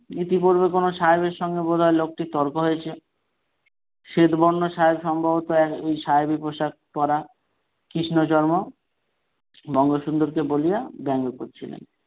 ইতিপূর্বে কোন সাহেবের সঙ্গে বোধহয় লোকটির তর্ক হয়েছে শ্বেত বর্ণ সাহেব সম্ভবত ওই সাহেবি পোশাক পরা কৃষ্ণচর্ম বঙ্গসুন্দরকে বলিয়া বেঙ্গ করছিলেন।